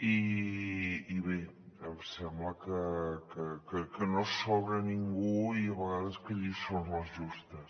i bé em sembla que no hi sobra ningú i a vegades de lliçons les justes